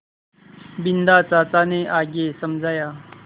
बिन्दा चाचा ने आगे समझाया